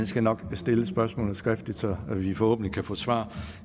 skal nok stille spørgsmålet skriftligt så vi forhåbentlig kan få svar